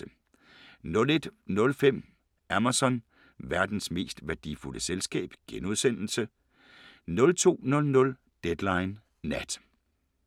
01:05: Amazon – verdens mest værdifulde selskab * 02:00: Deadline Nat